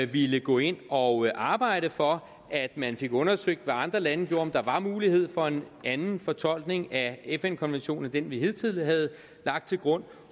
ville gå ind og arbejde for at man fik undersøgt hvad andre lande gjorde og om der var mulighed for en anden fortolkning af fn konventionen end den vi hidtil havde lagt til grund